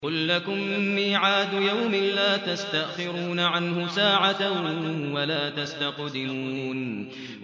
قُل لَّكُم مِّيعَادُ يَوْمٍ لَّا تَسْتَأْخِرُونَ عَنْهُ سَاعَةً وَلَا تَسْتَقْدِمُونَ